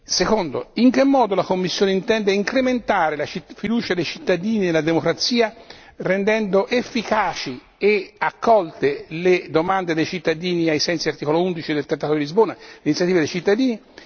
Secondo in che modo la Commissione intende incrementare la fiducia dei cittadini e la democrazia rendendo efficaci e accolte le domande dei cittadini ai sensi dell'articolo 11 del trattato di Lisbona sull'iniziativa dei cittadini?